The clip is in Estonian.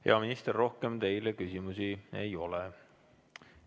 Hea minister, rohkem teile küsimusi ei ole.